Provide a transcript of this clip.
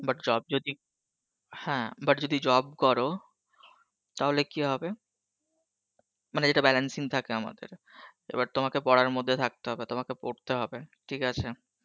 but job যদি, হ্যাঁ but যদি job করো, তাহলে কি হবে, মানে যেটা balancing থাকে আমাদের, এবার তোমাকে পরার মধ্যে থাকতে হবে, তোমাকে পড়তে হবে ঠিক আছে